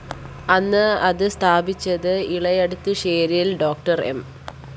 അന്ന് അത് സ്ഥാപിച്ചത് ഇളയടത്തുശേരില്‍ ഡോക്ടർ എം